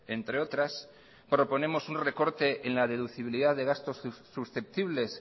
entre otras proponemos un recorte en la deducibilidad de gastos susceptibles